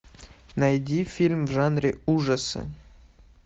найди фильм в жанре ужасы